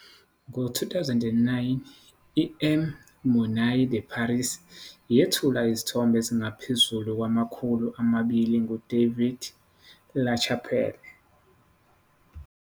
Ngo-2009, iM Monnaie de Paris yethula izithombe ezingaphezu kwamakhulu amabili nguDavid LaChapelle.